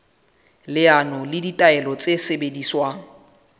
leano le ditaelo tse sebediswang